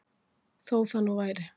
Þó það nú væri